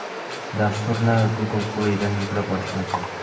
Dasturni Google Play’dan yuklab olish mumkin.